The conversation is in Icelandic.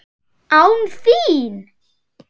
ÁN ÞÍN!?